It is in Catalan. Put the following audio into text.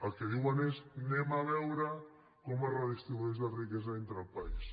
el que diuen és anem a veure com es redistribueix la riquesa dintre el país